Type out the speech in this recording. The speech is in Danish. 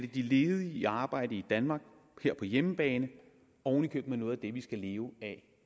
de ledige i arbejde i danmark her på hjemmebane oven i købet med noget af det vi skal leve af